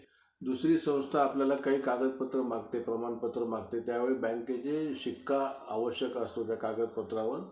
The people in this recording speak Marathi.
खेळायचं ते खेळायचं. हा. नाही नाही आमचं ते ठरलेलंचं आहे.